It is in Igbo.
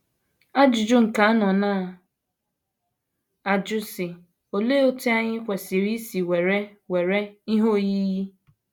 Ajụjụ nke anọ na - ajụ, sị: “ Olee otú anyị kwesịrị isi were were Ihe Oyiyi? ”